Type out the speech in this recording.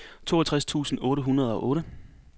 toogtres tusind otte hundrede og otte